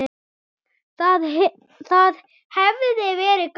Það hefði verið gaman.